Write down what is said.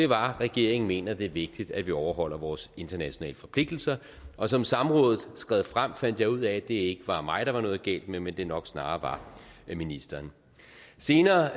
var regeringen mener det er vigtigt at vi overholder vores internationale forpligtelser og som samrådet skred frem fandt jeg ud af at det ikke var mig der var noget galt med men at det nok snarere var ministeren senere